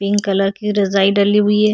Pink colour की रज़ाई डली हुई है।